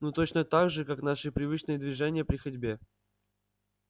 ну точно так же как наши привычные движения при ходьбе